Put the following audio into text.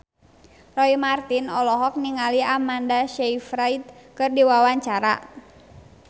Roy Marten olohok ningali Amanda Sayfried keur diwawancara